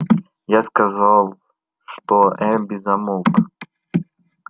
я сказал что эрби замолк